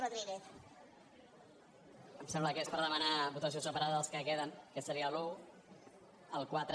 em sembla que és per demanar votació separada dels que queden que serien l’un el quatre